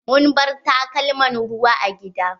Mun bar takalman ruwa a gida.